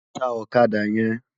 Tá òkàdá yèn